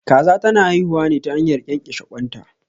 Kaza ta na haihuwa ne ta hanyar ƙyanƙyashe ƙwan ta